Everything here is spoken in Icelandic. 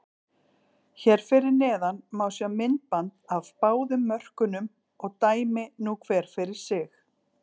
Hér fyrir neðan má sjá myndband af báðum mörkunum og dæmi nú hver fyrir sig.